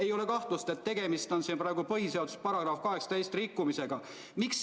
Ei ole kahtlustki, et tegemist on põhiseaduse § 18 rikkumisega.